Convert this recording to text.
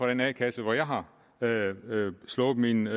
den a kasse hvor jeg har slået mine